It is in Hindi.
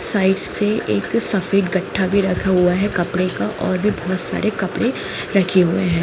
साइड से एक सफेद गट्टा भी रखा हुआ है कपड़े का और भी बहुत सारे कपड़े रखे हुए हैं।